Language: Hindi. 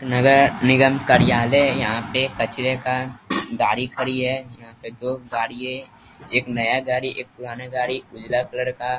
नगर निगम कार्यालय है यहाँ पे कचड़े का गाड़ी खड़ी है यहाँ पे दो गाड़ी हैं एक नया गाड़ी एक पुराना गाड़ी उजला कलर का।